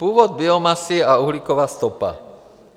Původ biomasy a uhlíková stopa.